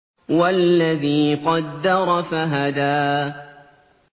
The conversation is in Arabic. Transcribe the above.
وَالَّذِي قَدَّرَ فَهَدَىٰ